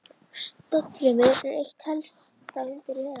Stofnfrumur eru eitt helsta undur veraldar.